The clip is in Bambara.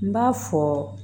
N b'a fɔ